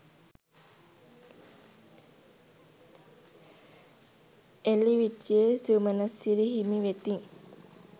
එලිවිටියේ සුමනසිරි හිමි වෙතින්